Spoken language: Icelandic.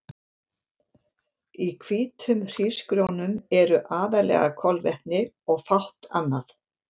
Í hvítum hrísgrjónum eru aðallega kolvetni og fátt annað.